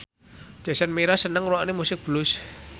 Jason Mraz seneng ngrungokne musik blues